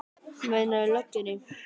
Meinarðu. í lögguna?